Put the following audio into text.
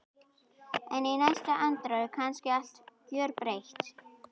En í næstu andrá er kannski allt gjörbreytt.